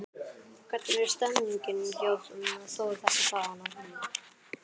Hvernig er stemningin hjá Þór þessa dagana?